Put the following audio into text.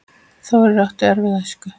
Þórir átti erfiða æsku.